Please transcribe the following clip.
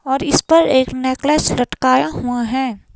और इस पर एक नेकलेस लटकाया हुआ है।